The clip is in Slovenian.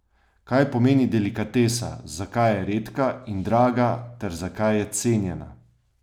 Kaj pomeni delikatesa, zakaj je redka in draga ter zakaj je cenjena?